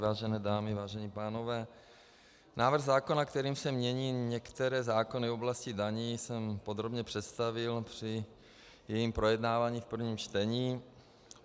Vážené dámy, vážení pánové, návrh zákona, kterým se mění některé zákony v oblasti daní, jsem podrobně představil při jeho projednávání v prvním čtení.